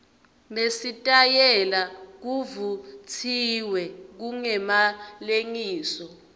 nesitayela kuvutsiwe kungemalengiso